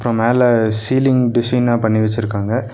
மேல சீலிங் டிசைனா பண்ணி வெச்சுருக்காங்க.